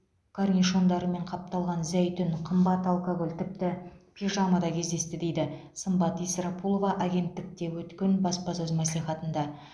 корнишондарымен қапталған зәйтүн қымбат алкоголь тіпті пижама да кездесті дейді сымбат исрапулова агенттікте өткен баспасөз мәслихатында